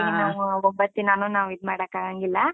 ಹಾಂಗಾಗಿ ನಾವು, ಒಂಬತ್ತ್ ದಿನಾನೂ ನಾವು ಇದ್ ಮಾಡಾಕಾಗಾಂಗಿಲ್ಲ.